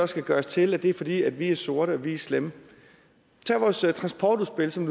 skal gøres til at det er fordi vi er sorte og vi er slemme tag vores transportudspil som